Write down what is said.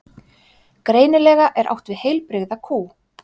Greinilega er átt við heilbrigða kú.